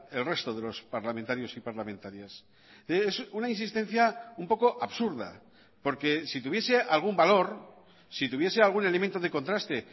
el resto de los parlamentarios y parlamentarias es una insistencia un poco absurda porque si tuviese algún valor si tuviese algún elemento de contraste